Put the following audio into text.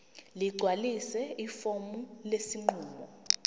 ligcwalise ifomu lesinqumo